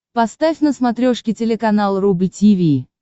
поставь на смотрешке телеканал рубль ти ви